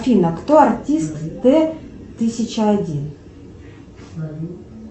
афина кто артист т тысяча один